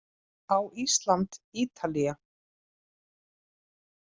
Á Ísland- Ítalía